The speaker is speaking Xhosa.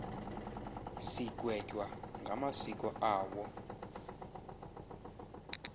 sigwetywa ngamasiko awo